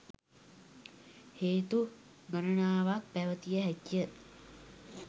හේතු ගණනාවක් පැවතිය හැකිය.